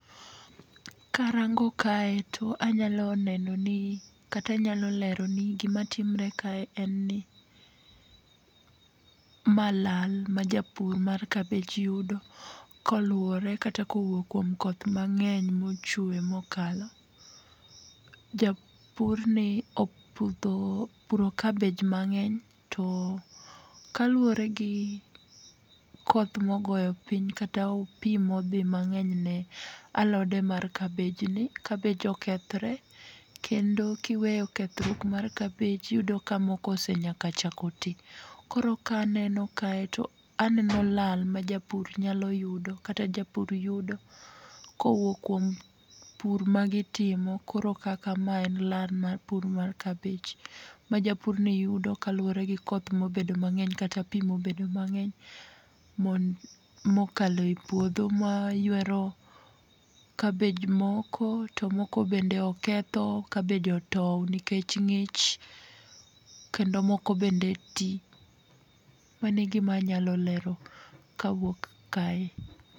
Ka arango kae to anyalo neno ni kata anyalo leroni gi ma timore kae ni ma lal ma japur mar kabich yudo koluore kata ko owuok kuom koth ma ng'eny ma ochwe ma okalo. Japur ni opudho opuro kabej ma ng'eny to kaluore gi koth ma ogoyo piny ka ta pi ma odhi mang'eny ne alode mar kabej ni kabej okethore kendo ki iweyo kethruok mar kabej ti iyudo ka moko osechako nyaka ti. Koro ka aneno kae to aneno lal ma japur nyalo yudo kata japur yudo ko owuok kuom pur ma gi timo koro kaka ma e en lal mar kabich ma japur ni yudo kaluore gi koth ma obedo mang'eny kata pi ma obedo mang'eny ma okalo e puodho maywero kabej moko to moko be oketho kabej otwo nikech ng'ich kendo moko bende ti, mano e gi ma anya lero kawuok kanyo.